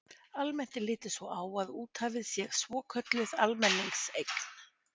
Almennt er litið svo á að úthafið sé svokölluð almenningseign.